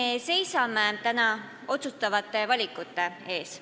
Me seisame täna otsustavate valikute ees.